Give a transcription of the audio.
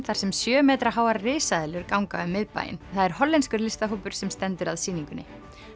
þar sem sjö metra háar risaeðlur ganga um miðbæinn það er hollenskur sem stendur að sýningunni